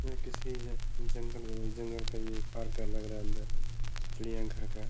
ये किसी जंगल का जंगल का ये पार्क लग रहा है। अन्दर चिड़िया घर का --